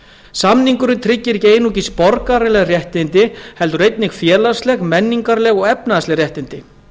samningurinn tryggir ekki einungis borgaraleg réttindi heldur einnig félagsleg menningarleg og efnahagsleg réttindi